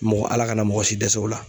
Mɔgɔ Ala kana mɔgɔ si dɛsɛ o la.